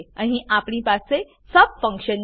અહીં આપણી પાસે સબ ફંક્શન છે